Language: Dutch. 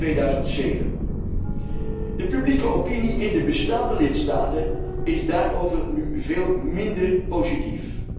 en 2007. De publieke opinie in de bestaande lidstaten is daarover nu veel minder positief.